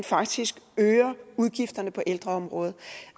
faktisk øger udgifterne på ældreområdet